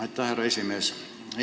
Aitäh, härra esimees!